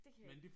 Det kan jeg ikke